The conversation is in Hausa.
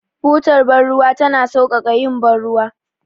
Butar bar ruwa tana sauƙaƙa yin bar ruwa.